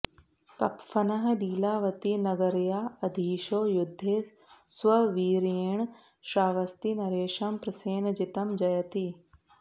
कप्फनः लीलावतीनगर्या अधीशो युद्धे स्ववीर्येण श्रावस्तीनरेशं प्रसेनजितं जयति